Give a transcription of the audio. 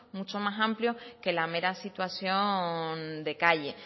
mucho más amplio que la mera situación de calle